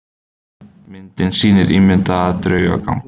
Myndin sýnir ímyndaðan draugagang.